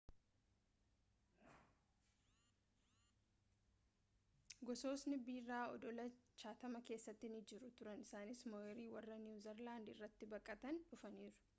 gosni biraa odola chatham keessa ni jiru turan isaanis ma'orii warra niwu zeelaandii irra baqatanii dhufaniidha